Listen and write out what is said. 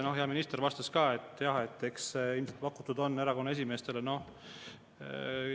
Hea minister vastas ka, et ilmselt on erakonna esimeestele pakutud.